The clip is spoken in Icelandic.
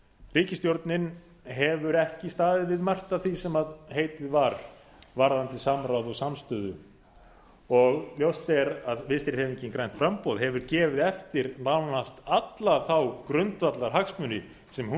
ríkisstjórnin hefur ekki staðið við margt af því sem heitið var varðandi samráð og samstöðu og ljóst er að vinstri hreyfingin grænt framboð hefur gefið eftir nánast alla þá grundvallarhagsmuni sem hún